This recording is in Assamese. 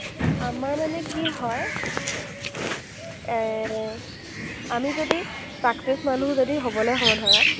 আমাৰ মানে কি হয়, এৰ আমি যদি success মানুহ যদি হ’বলৈ হওঁ ধৰা,